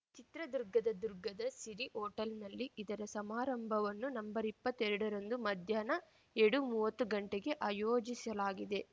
ಚಿತ್ರದುರ್ಗದ ದುರ್ಗದ ಸಿರಿ ಹೋಟೆಲ್‌ನಲ್ಲಿ ಇದರ ಸಮಾರಂಭವನ್ನು ನಂಬರ್ ಇಪ್ಪತ್ತೆರಡ ರಂದು ಮಧ್ಯಾಹ್ನ ಎರಡುಮುವತ್ತು ಗಂಟೆಗೆ ಆಯೋಜಿಸಲಾಗಿದೆ